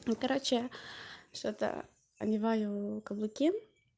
ну короче что-то одеваю каблуки